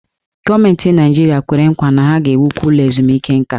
Gọọmenti Naịjirịa kwere nkwa na ha ga-ewukwu ụlọ ezumike nka.